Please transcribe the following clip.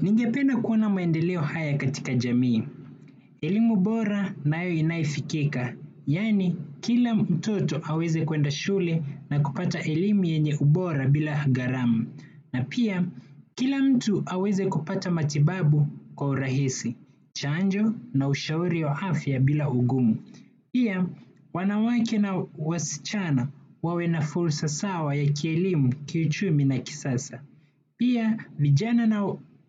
Ningependa kuona maendeleo haya katika jamii. Elimu bora nayo inayofikika. Yaani, kila mtoto aweze kwenda shule na kupata elimu yenye ubora bila gharama. Na pia, kila mtu aweze kupata matibabu kwa urahisi. Chanjo na ushauri wa afya bila ugumu. Pia, wanawake na wasichana wawe na fursa sawa ya kielimu, kiuchumi na kisasa. Pia vijana na